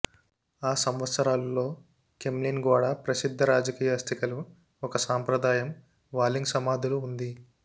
ఆ సంవత్సరాలు లో క్రెమ్లిన్ గోడ ప్రసిద్ధ రాజకీయ అస్థికలు ఒక సంప్రదాయం వాల్లింగ్ సమాధులు ఉంది